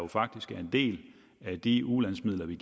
faktisk er en del af de ulandsmidler vi